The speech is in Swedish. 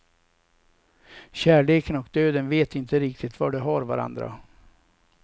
Kärleken och döden vet inte riktigt var de har varandra.